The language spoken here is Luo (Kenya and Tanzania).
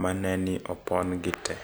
Ma ne ni opon gi te.